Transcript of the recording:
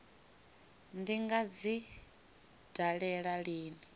ndi nga dzi dalela lini